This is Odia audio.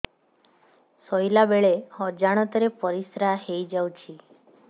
ଶୋଇଲା ବେଳେ ଅଜାଣତ ରେ ପରିସ୍ରା ହେଇଯାଉଛି